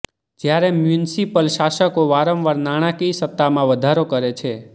જ્યારે મ્યુનિસિપલ શાસકો વારંવાર નાણાંકીય સતામાં વધારો કરે છે